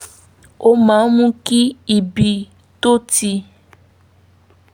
ó máa ń mú kí ibi tó ti